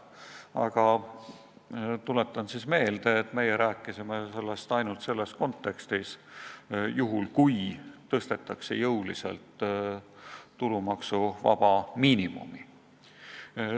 Aga ma tuletan meelde, et meie rääkisime sellest ainult selles kontekstis, et kui jõuliselt tõstetakse tulumaksuvaba miinimumi.